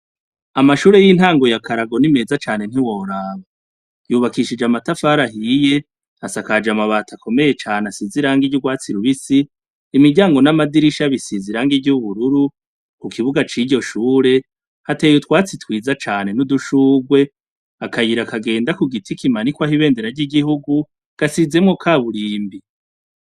Amashure y'intango yakarago ni meza cane ntiworaba yubakishije amatafari ahiye asakaje amabati akomeye cane asize irangi ry'urwatsi rubisi imiryango n'amadirisha bisize irangi ry'ubururu kukibuga c'iryo shure hateye utwatsi twiza cane n'udushurwe akayira kagenda kugiti kimanikwako Ibendera ry'igihugu gasizemwo kaburimbi.